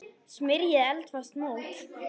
Smyrjið eldfast mót.